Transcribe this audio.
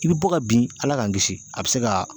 I bɛ bɔ ka bin Ala k'an kisi a bɛ se ka